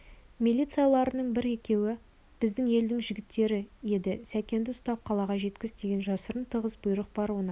милицияларының бір-екеуі біздің елдің жігіттері еді сәкенді ұстап қалаға жеткіз деген жасырын тығыз бұйрық бар онан